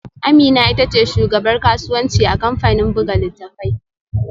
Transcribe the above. Amina ita ce shugabar kasuwanci a kamfanin buga littattafai